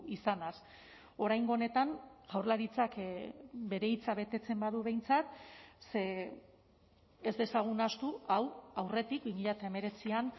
izanaz oraingo honetan jaurlaritzak bere hitza betetzen badu behintzat ze ez dezagun ahaztu hau aurretik bi mila hemeretzian